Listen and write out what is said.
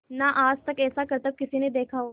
ना आज तक ऐसा करतब किसी ने देखा हो